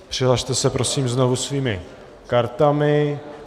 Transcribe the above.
Přihlaste se, prosím, znovu svými kartami.